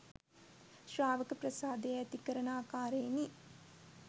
ශ්‍රාවක ප්‍රසාදය ඇති කරන ආකාරයෙනි.